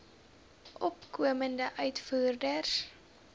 opkomende uitvoerders